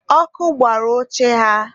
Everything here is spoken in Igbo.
ọkụ gbara oche ha